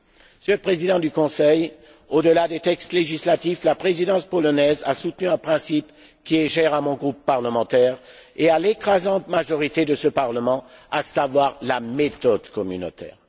Monsieur le Président du Conseil, au delà des textes législatifs, la Présidence polonaise a soutenu un principe qui est cher à mon groupe parlementaire et à l'écrasante majorité de ce Parlement, à savoir la méthode communautaire.